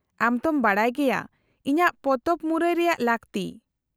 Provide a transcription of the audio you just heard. -ᱟᱢ ᱛᱚᱢ ᱵᱟᱰᱟᱭ ᱜᱮᱭᱟ ᱤᱧᱟᱹᱜ ᱯᱚᱛᱚᱵ ᱢᱩᱨᱟᱹᱭ ᱨᱮᱭᱟᱜ ᱞᱟᱹᱠᱛᱤ ᱾